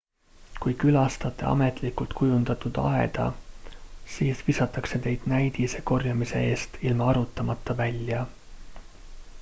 "kui külastate ametlikult kujundatud aeda siis visatakse teid "näidise" korjamise eest ilma arutamata välja.